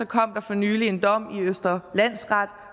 kom der for nylig en dom i østre landsret